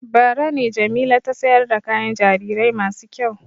Bara ne Jamila ta sayar da kayan jarirai masu kyau.